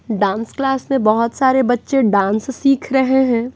Dance class में बहुत सारे बच्चे डांस सीख रहे हैं।